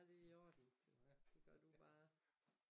Det i orden det gør du bare